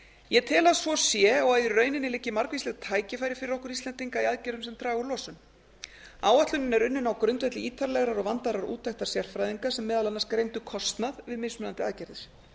ég tel að svo sé og að í rauninni liggi margvísleg tækifæri fyrir okkur íslendinga í aðgerðum sem draga úr losun áætlunin er unnin á grundvelli ítarlegrar og vandaðrar úttektar sérfræðinga sem meðal annars greindu kostnað við mismunandi aðgerðir